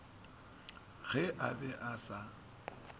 ge a be a sa